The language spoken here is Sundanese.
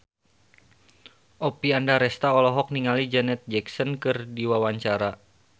Oppie Andaresta olohok ningali Janet Jackson keur diwawancara